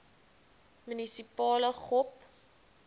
munisipale gop